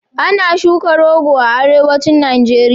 Ana shuka rogo a Arewacin Najeriya.